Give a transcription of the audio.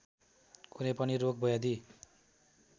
कुनै पनि रोगव्याधि